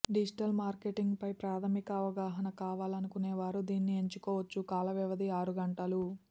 digital మార్కెటింగ్పై ప్రాథమిక అవగాహన కావాలనుకునేవారు దీనిని ఎంచుకోవచ్ఛు కాలవ్యవధి ఆరు గంటలు